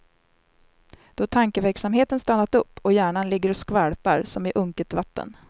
Då tankeverksamheten stannat upp och hjärnan ligger och skvalpar som i unket vatten.